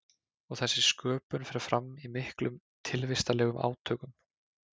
Og þessi sköpun fer fram í miklum tilvistarlegum átökum.